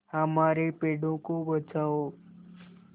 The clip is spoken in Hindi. हमारे पेड़ों को बचाओ